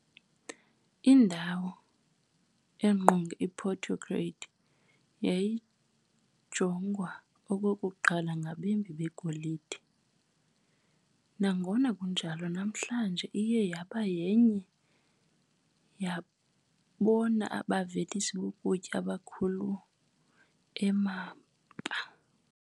Indawo engqonge iPorto Grande yayijongwa okokuqala ngabembi begolide, nangona kunjalo namhlanje iye yaba yenye yabona bavelisi bokutya abakhulu e-Amapa.